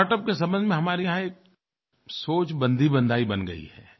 startup के संबंध में हमारे यहाँ एक सोच बंधीबंधाई बन गयी है